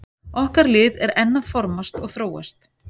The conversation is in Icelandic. Okkar lið er enn að formast og þróast.